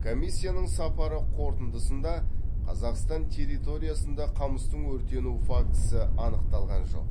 комиссияның сапары қорытындысында қазақстан территориясында қамыстың өртену фактісі анықталған жоқ